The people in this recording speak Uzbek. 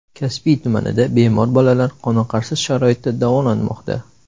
Kasbi tumanida bemor bolalar qoniqarsiz sharoitda davolanmoqda.